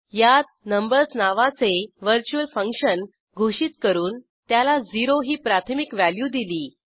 यात नंबर्स नावाचे virtual function घोषित करून त्याला 0 ही प्राथमिक व्हॅल्यू दिली